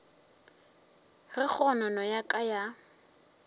ge kgonono ya ka ya